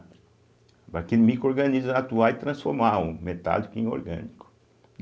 micro-organismo atuar e transformar o metálico em orgânico.